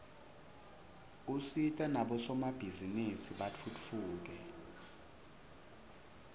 usita nabosomabhizinisi batfutfuke